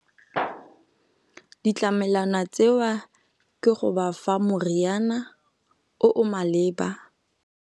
Ditlamelwana tseo ke go ba fa moriana o o maleba.